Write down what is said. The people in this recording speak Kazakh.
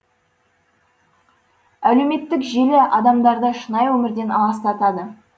әлеуметтік желі адамдарды шынайы өмірден аластатады